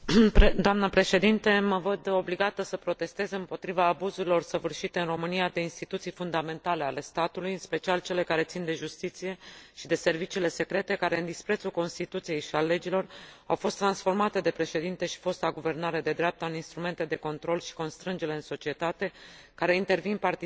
Mă văd obligată să protestez împotriva abuzurilor săvârșite în România de instituții fundamentale ale statului, în special cele care țin de justiție și de serviciile secrete, care, în disprețul Constituției și al legilor, au fost transformate de Președinte și de fosta guvernare de dreapta în instrumente de control și constrângere în societate, care intervin partizan în lupta politică.